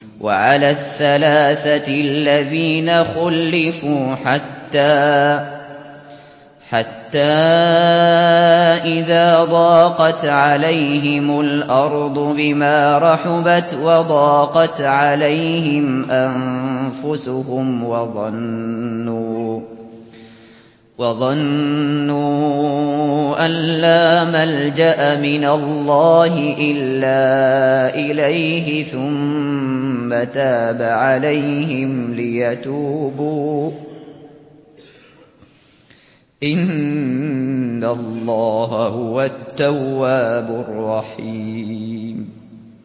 وَعَلَى الثَّلَاثَةِ الَّذِينَ خُلِّفُوا حَتَّىٰ إِذَا ضَاقَتْ عَلَيْهِمُ الْأَرْضُ بِمَا رَحُبَتْ وَضَاقَتْ عَلَيْهِمْ أَنفُسُهُمْ وَظَنُّوا أَن لَّا مَلْجَأَ مِنَ اللَّهِ إِلَّا إِلَيْهِ ثُمَّ تَابَ عَلَيْهِمْ لِيَتُوبُوا ۚ إِنَّ اللَّهَ هُوَ التَّوَّابُ الرَّحِيمُ